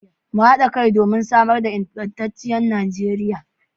Mu hada kai domin samar da ingantacciyar Najeriya